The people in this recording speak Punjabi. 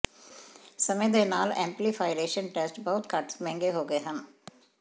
ਸਮੇਂ ਦੇ ਨਾਲ ਐਮਪਲੀਫਾਇਰੇਸ਼ਨ ਟੈਸਟ ਬਹੁਤ ਘੱਟ ਮਹਿੰਗੇ ਹੋ ਗਏ ਹਨ